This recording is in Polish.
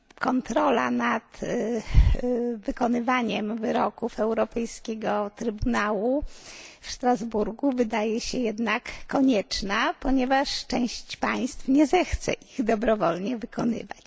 Kontrola nad wykonywaniem wyroków Europejskiego Trybunału Praw Człowieka w Strasburgu wydaje się jednak konieczna, ponieważ część państw nie zechce ich dobrowolnie wykonywać.